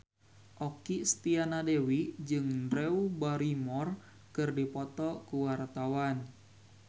Okky Setiana Dewi jeung Drew Barrymore keur dipoto ku wartawan